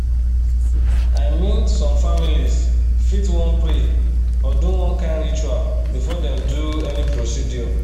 i mean some families fit wan pray or do one kind ritual before dem do any procedure.